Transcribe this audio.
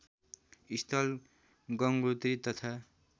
स्थल गंगोत्री तथा